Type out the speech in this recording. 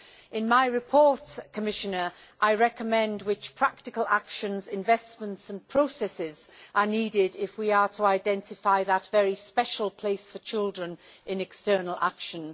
In my report, Commissioner, I recommend which practical actions, investments and processes are needed if we are to identify that very special place for children in external action.